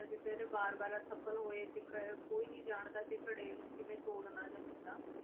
ਵਾਰ ਵਾਰ ਅਸਫਲ ਹੋਏ ਤੇ ਕ~ ਕੋਈ ਨੀ ਜਾਣਦਾ ਕਿ ਘੜੇ ਨੂੰ ਕਿਵੇਂ ਤੋੜ੍ਹਨਾ ਜਾਂ ਕਿੱਦਾਂ।